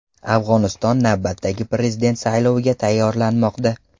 Afg‘oniston navbatdagi prezident sayloviga tayyorlanmoqda.